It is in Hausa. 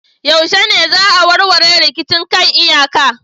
Yaushe ne za a warware rikicin kan iyaka